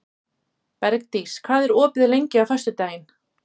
Bergdís, hvað er opið lengi á föstudaginn?